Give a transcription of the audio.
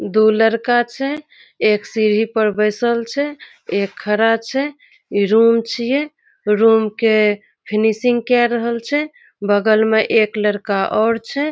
दो लड़का छै एक सीढ़ी पर बैसल छै एक खड़ा छै एक रूम छिये रूम के फिनिशिंग काय रहल छै बगल में एक लड़का और छै।